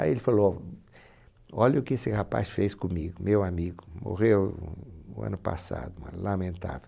Aí ele falou, olha o que esse rapaz fez comigo, meu amigo, morreu ano passado, lamentável.